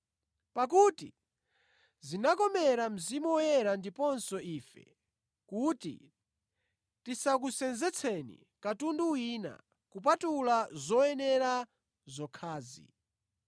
Pakuti zinakomera Mzimu Woyera ndiponso ife kuti tisakusenzetseni katundu wina, kupatula zoyenera zokhazi: